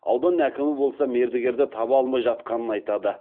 аудан әкімі болса мердігерді таба алмай жатқанын айтады